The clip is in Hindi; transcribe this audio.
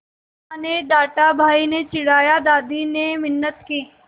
माँ ने डाँटा भाई ने चिढ़ाया दादी ने मिन्नत की